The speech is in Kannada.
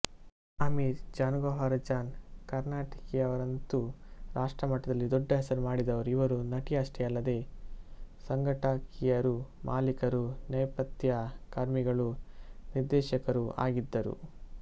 ಅಮೀರ್ ಜಾನ್ಗೋಹರಜಾನ್ ಕರ್ನಾಟಕಿಯವರಂತೂ ರಾಷ್ಟ್ರಮಟ್ಟದಲ್ಲಿ ದೊಡ್ಡ ಹೆಸರು ಮಾಡಿದವರುಇವರು ನಟಿ ಅಷ್ಟೇ ಅಲ್ಲದೆ ಸಂಘಟಕಿಯರುಮಾಲೀಕರುನೇಪಥ್ಯ ಕರ್ಮಿಗಳುನಿರ್ದೇಶಕರೂ ಆಗಿದ್ದರು